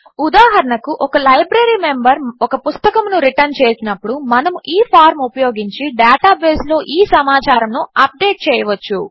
ఉదాహరణకు ఒక library member ఒక పుస్తకమును రిటర్న్ చేసినప్పుడు మనము ఈ ఫార్మ్ ఉపయోగించి డేటాబేస్లో ఈ సమాచారమును అప్డేట్ చేయవచ్చు